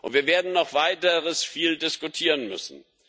Wir werden noch Weiteres viel diskutieren müssen.